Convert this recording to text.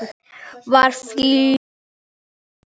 Var fljót að læra.